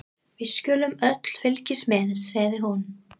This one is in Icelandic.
Við skulum öll fylgjast með, segir hún.